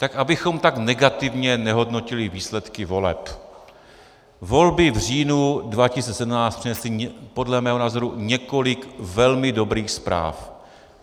Tak abychom tak negativně nehodnotili výsledky voleb, volby v říjnu 2017 přinesly podle mého názoru několik velmi dobrých zpráv.